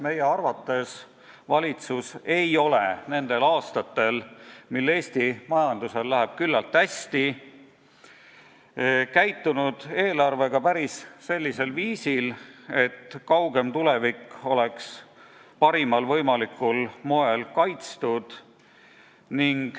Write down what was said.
Meie arvates valitsus ei ole nendel aastatel, mil Eesti majandusel läheb küllalt hästi, käitunud eelarvega päris sellisel viisil, et kaugem tulevik oleks parimal võimalikul moel kaitstud.